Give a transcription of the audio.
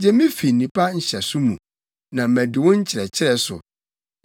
Gye me fi nnipa nhyɛso mu, na madi wo nkyerɛkyerɛ so.